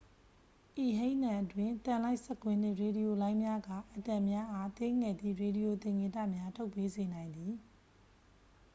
ဤဟိန်းသံအတွင်း သံလိုက်စက်ကွင်းနှင့် ရေဒီယိုလိုင်းများက အက်တမ်များအား သေးငယ်သည့် ရေဒီယိုသင်္ကေတများ ထုတ်ပေးစေနိုင်သည်